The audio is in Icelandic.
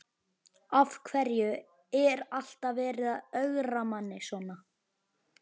Af hverju er alltaf verið að ögra manni svona?